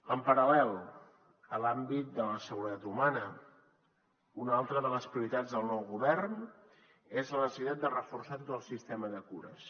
en paral·lel a l’àmbit de la seguretat humana una altra de les prioritats del nou govern és la necessitat de reforçar tot el sistema de cures